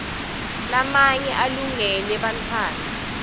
lamanye alungele bantfwana